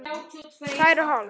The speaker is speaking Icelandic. Tvær og hálf.